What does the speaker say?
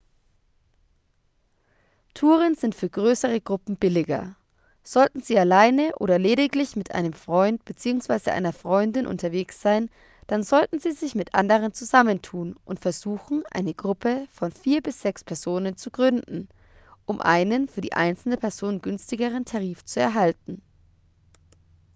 touren sind für größere gruppen billiger sollten sie alleine oder lediglich mit einem freund bzw. einer freundin unterwegs sein dann sollten sie sich mit anderen zusammentun und versuchen eine gruppe von vier bis sechs personen zu gründen um einen für die einzelne person günstigeren tarif zu erhalten